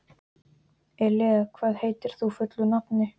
Elea, hvað heitir þú fullu nafni?